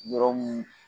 Yɔrɔ mun